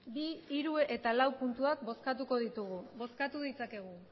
bi hiru eta lau puntuak bozkatuko ditugu bozkatu ditzakegu